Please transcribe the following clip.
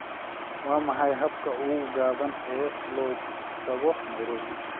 waa maxay habka ugu gaaban ee loo tago nairobi